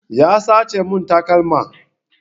Ya sace mun takalma